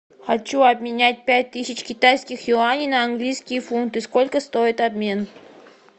хочу обменять пять тысяч китайских юаней на английские фунты сколько стоит обмен